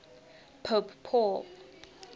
pope paul